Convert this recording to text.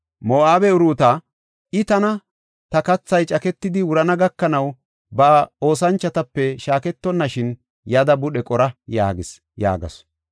Moo7abe Uruuta, “I tana, ‘Ta kathay caketidi wurana gakanaw, ta oosanchotape shaaketonashin yada budhe qora’ yaagis” yaagasu.